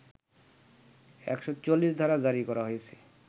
১৪৪ ধারা জারি করা হয়েছে